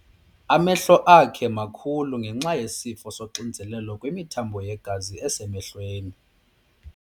Amehlo akhe makhulu ngenxa yesifo soxinzelelo kwimithambo yegazi esemehlweni.